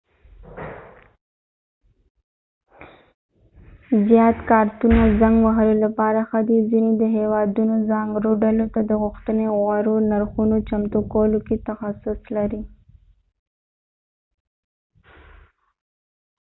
زيات کارتونه زنګ وهلو لپاره ښه دې ځینې د هیوادونو ځانګړو ډلو ته د غوښتنې غوره نرخونو چمتو کولو کې تخصص لري